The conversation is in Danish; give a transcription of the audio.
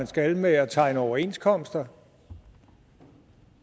skal med at tegne overenskomster